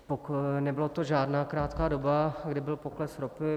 Nebyla to žádná krátká doba, kdy byl pokles ropy.